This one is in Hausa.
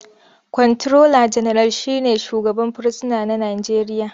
Kwanturola General shi ne shugaban fursuna na Najeriya.